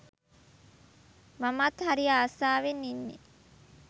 මමත් හරි ආසවෙන් ඉන්නේ